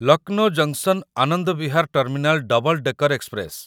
Lucknow junction Anand Vihar terminal double decker express